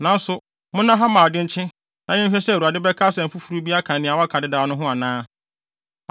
Nanso, monna ha mma ade nkye na yɛnhwɛ sɛ Awurade bɛka asɛm foforo bi aka nea waka dedaw no ho anaa.”